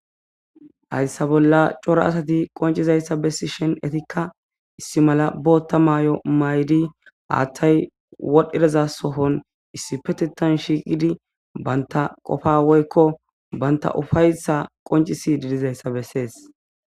Hayssa bolla cora asati qoncizayssa bessi shen etikka issi mala bootta maay'o maydi haathtay wodhdhidaza sohon issi petetan shiiqidi banta qofa woykko banta ufayssa qoncisi didizayssa bessees